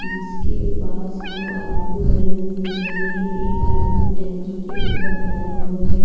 जिसके पास दो आदमी खड़े हुए दिख रहे हैं एक आदमी टंकी के ऊपर खड़ा हुआ है।